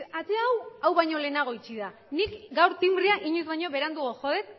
ate hau hau baino lehenago itxi da nik gaur tinbrea inoiz baino beranduago jo dut